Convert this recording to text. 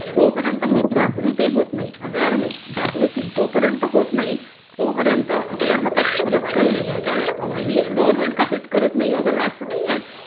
जोपर्यंत ही जागृती होत नाही अवेअरनेस जागृती जोपर्यंत होत नाही तोपर्यंत आपल्या हातात खरंच काही नाहीये कारण अगदीच गव्हर्मेंट काही करत नाहीये वगैरे असं नाही